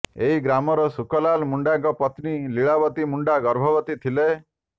ଏହି ଗ୍ରାମର ଶୁକଲାଲ ମୁଣ୍ଡାଙ୍କ ପତ୍ନୀ ଲୀଳାବତୀ ମୁଣ୍ଡା ଗର୍ଭବତୀ ଥିଲେ